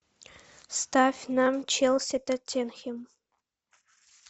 ставь нам челси тоттенхэм